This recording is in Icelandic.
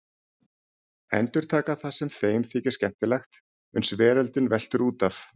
Endurtaka það sem þeim þykir skemmtilegt uns veröldin veltur út af.